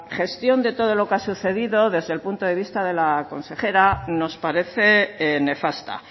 gestión de todo lo que ha sucedido desde el punto de vista de la consejera nos parece nefasta